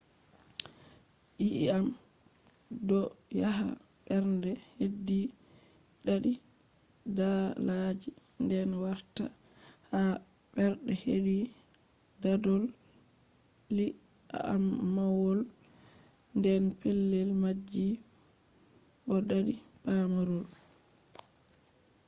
yii’am do yaha bernde hedi dadi daadaaji den wartaa ha bernde hedi dadol-ii’amwol ,den petel maji bo dadi pamarol